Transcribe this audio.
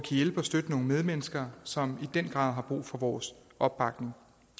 hjælpe og støtte nogle medmennesker som i den grad har brug for vores opbakning